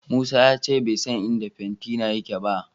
Musa ya ce bai san inda fentina yake ba.